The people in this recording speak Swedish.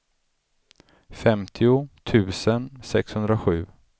femtio tusen sexhundrasju